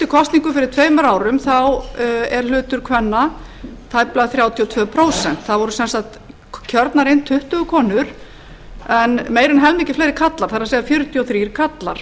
kosningum fyrir tveimur árum er hlutur kvenna tæplega þrjátíu og tvö prósent það voru sem sagt kjörnar inn tuttugu konur en meira en helmingi fleiri karlar það er fjörutíu og þrír karlar